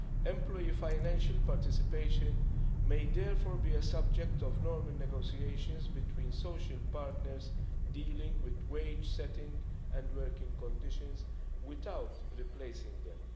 Employee financial participation may therefore be a subject of normal negotiations between social partners dealing with wage setting and working conditions without replacing them.